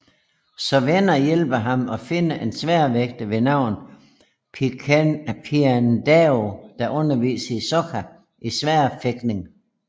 Så venner hjælper ham og finder en sværdfægter ved navn Piandao der underviser Sokka i sværfægtning